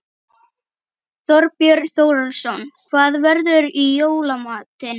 Þorbjörn Þórðarson: Hvað verður í jóla matinn?